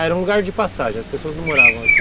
Ah, era um lugar de passagem, as pessoas não moravam aqui?